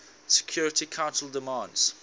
security council demands